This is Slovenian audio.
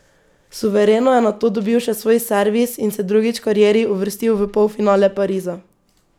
Suvereno je nato dobil še svoj servis in se drugič v karieri uvrstil v polfinale Pariza.